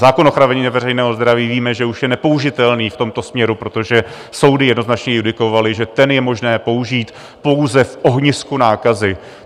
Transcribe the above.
Zákon o ochraně veřejného zdraví - víme, že už je nepoužitelný v tomto směru, protože soudy jednoznačně judikovaly, že ten je možné použít pouze v ohnisku nákazy.